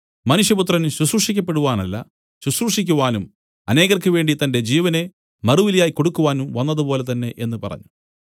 മനുഷ്യപുത്രൻ ശുശ്രൂഷിക്കപ്പെടുവാനല്ല ശുശ്രൂഷിക്കുവാനും അനേകർക്ക് വേണ്ടി തന്റെ ജീവനെ മറുവിലയായി കൊടുക്കുവാനും വന്നതുപോലെ തന്നേ എന്നു പറഞ്ഞു